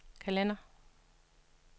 kalender